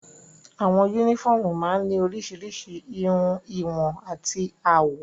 Àwọn únífọ́ọ́mù máa ń ní oríṣiríṣi ìhun, ìwọ̀n àti àwọ̀.